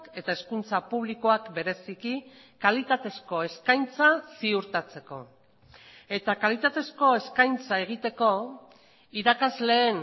eta hezkuntza publikoak bereziki kalitatezko eskaintza ziurtatzeko eta kalitatezko eskaintza egiteko irakasleen